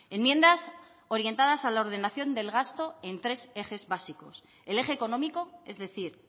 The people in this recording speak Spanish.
enmiendas orientadas a la ordenación del gasto en tres ejes básicos el eje económico es decir